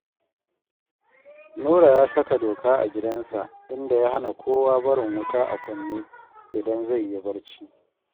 Nura ya saka doka a gidansa, inda ya hana kowa barin wuta a kunne idan zai yi barci